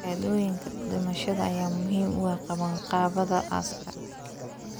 Shahaadooyinka dhimashada ayaa muhiim u ah qabanqaabada aaska.